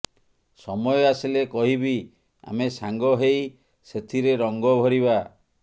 ସମୟ ଆସିଲେ କହିବି ଆମେ ସାଙ୍ଗ ହେଇ ସେଥିରେ ରଙ୍ଗ ଭରିବା